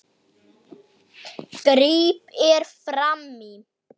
gríp ég fram í.